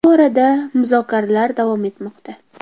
Bu borada muzokaralar davom etmoqda.